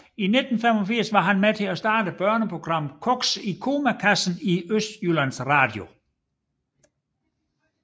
I 1985 var han med til at starte børneprogrammet Koks i komakassen i Østjyllands Radio